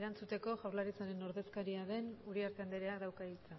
erantzuteko jaurlaritzaren ordezkaria den uriarte andreak dauka hitza